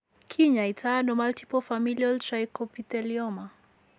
Kinyaaytano multiple familial trichoepithelioma?